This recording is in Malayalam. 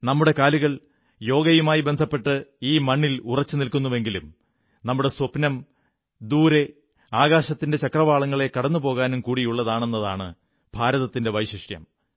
നമ്മുടെ കാലുകൾ യോഗയുമായി ബന്ധപ്പെട്ട് ഈ മണ്ണിലുറച്ചുനിൽക്കുന്നുവെങ്കിലും നമ്മുടെ സ്വപ്നം ദൂരെ ആകാശത്തിന്റെ ആ ചക്രവാളങ്ങളെ കടന്ന് പോകാനും കൂടിയുള്ളതാണെന്നതാണ് ഭാരതത്തിന്റെ വൈശിഷ്ട്യം